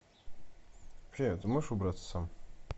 привет ты можешь убраться сам